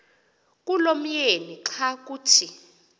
kulomyeni xa kuthi